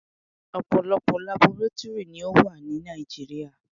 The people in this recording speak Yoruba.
Ọ̀pọ̀lọpọ̀ labọrátúrì ni ó wà ní Nàìjíríà.